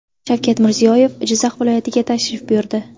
Shavkat Mirziyoyev Jizzax viloyatiga tashrif buyurdi.